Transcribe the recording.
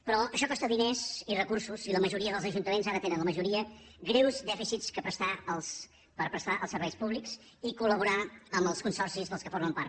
però això costa diners i recursos i la majoria dels ajuntaments ara tenen la majoria greus dèficits per prestar els serveis públics i colcis dels qual formen part